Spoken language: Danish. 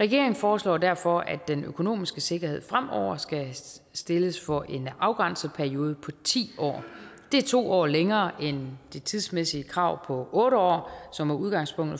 regeringen foreslår derfor at den økonomiske sikkerhed fremover skal stilles for en afgrænset periode på ti år det er to år længere end det tidsmæssige krav på otte år som er udgangspunktet